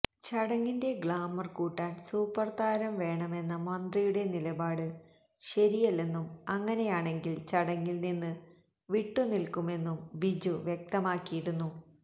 ചടങ്ങിന്റെ ഗ്ലാമര് കൂട്ടാന് സൂപ്പര്താരം വേണമെന്ന മന്ത്രിയുടെ നിലപാട് ശരിയല്ലെന്നും അങ്ങനെയാണെങ്കില് ചടങ്ങില് നിന്ന് വിട്ടു നില്ക്കുമെന്നും ബിജു വ്യക്തമാക്കിയിരുന്നു